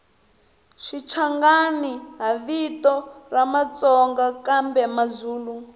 shichangani hhavito ramatsonga kambemazulu